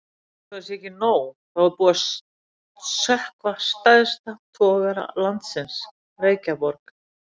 Einsog það sé ekki nóg, þá er búið að sökkva stærsta togara landsins, Reykjaborg.